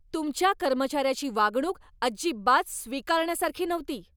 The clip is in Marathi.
तुमच्या कर्मचाऱ्याची वागणूक अजिबात स्वीकारण्यासारखी नव्हती.